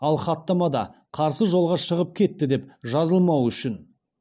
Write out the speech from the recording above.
ал хаттамада қарсы жолға шығып кетті деп жазылмауы үшін